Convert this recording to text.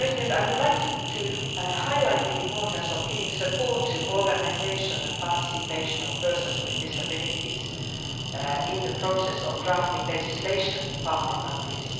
I would like to highlight the importance of giving support to the organisation and participation of persons with disabilities in the process of drafting legislation in partner countries.